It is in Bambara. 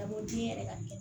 A ma di n yɛrɛ ka kɛ